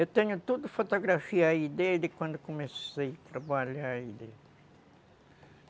Eu tenho toda a fotografia aí dele, quando comecei a trabalhar